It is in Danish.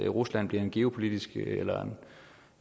rusland bliver en geopolitisk